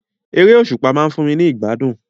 Eré òsùpá ma n fun mi ni ìgbádùn